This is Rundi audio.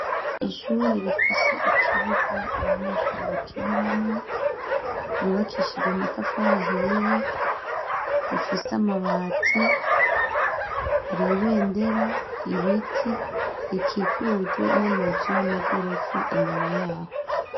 Ishure rifise ikibuga abanyeshuri bakiniramwo yyubakishije amatafarahiye rifise amabati haribendera ibiti rikikujwe n'amazu y'amagorofa inyuma yaho.